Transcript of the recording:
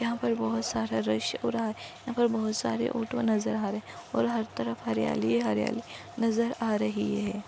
यहा पर बहुत सारा रश हो रहा है यहा पर बहुत सारे ऑटो नजर आ रहे है और हर तरफ हरियाली ही हरियाली नजर आ रही है।